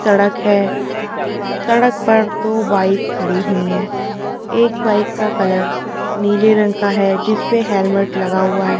सड़क है सड़क पर दो बाइक खड़ी हुई हैं एक बाइक का कलर नीले रंग का है जिस पे हेलमेट लगा हुआ है --